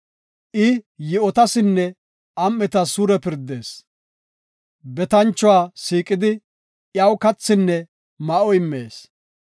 I yi7otasinne am7etas suure pirdees; betanchuwa siiqidi, iyaw kathinne ma7o immees.